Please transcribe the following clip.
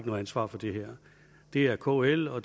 noget ansvar for det her det er kl og